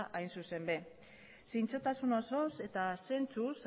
hain zuzen ere zintzotasun osoz eta zentzuz